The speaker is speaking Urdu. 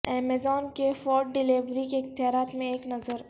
ایمیزون کے فوڈ ڈلیوری کے اختیارات میں ایک نظر